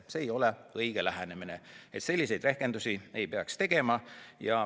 See ei ole õige lähenemine, selliseid rehkendusi ei peaks tegema.